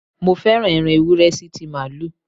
Mo féràn ẹran Ewúré sí ti Màálù.